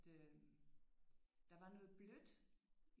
Øh der var noget blødt